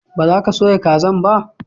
ba za ka soya kazan ba?